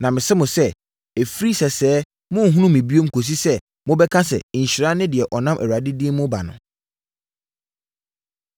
Na mese mo sɛ, ɛfiri sɛsɛɛ morenhunu me bio kɔsi sɛ, mobɛka sɛ, ‘Nhyira ne deɛ ɔnam Awurade din mu reba no.’ ”